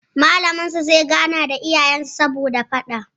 Malamin zai gana da iyayen su saboda faɗan